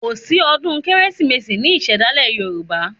Kòsí ọdún Kérésìmesì ní ìṣẹ̀dálẹ̀ Yoruba